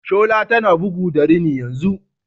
Shola tana bugu da rini yanzu.